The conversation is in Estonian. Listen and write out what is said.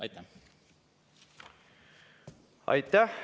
Aitäh!